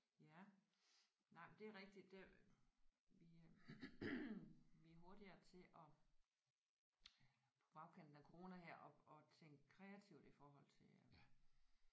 Ja nej men det er rigtigt det vi øh vi er hurtigere til at på bagkanten af corona her at at tænke kreativt i forhold til øh